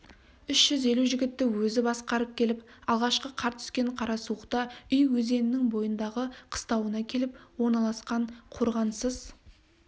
үш жүз елу жігітті өзі басқарып келіп алғашқы қар түскен қарасуықта үй өзенінің бойындағы қыстауына келіп орналасқан қорғансыз